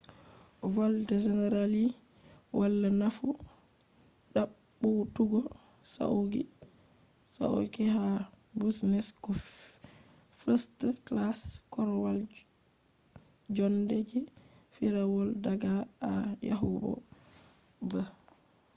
volde generally wala nafu ɗaɓɓutugo sauqi ha business ko first-class korwal jonde je firawol daga a yahugo b